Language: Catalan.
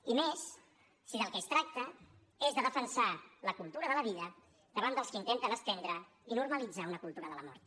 i més si del que es tracta és de defensar la cultura de la vida davant dels que intenten estendre i normalitzar una cultura de la mort